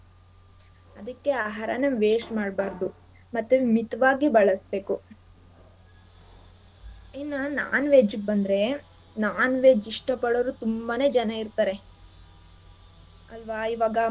ಅದಕ್ಕೆ ಆಹಾರಾನ waste ಮಾಡ್ಬಾರ್ದು ಮತ್ತೆ ಮಿತವಾಗಿ ಬಳ್ಸ್ಬೇಕು ಇನ್ನ non-veg ಗ್ ಬಂದ್ರೆ non-veg ಇಷ್ಟ ಪಡೋರು ತುಂಬಾನೇ ಜನ ಇರ್ತಾರೆ ಅಲ್ವಾ ಇವಾಗ.